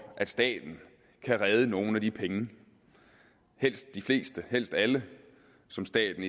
at staten kan redde nogle af de penge helst de fleste og helst alle som staten